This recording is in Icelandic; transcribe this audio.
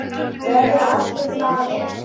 Verða allir glaðir?